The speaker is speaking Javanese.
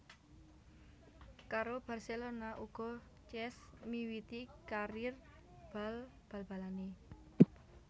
Karo Barcelona uga Cesc miwiti karir bal balanè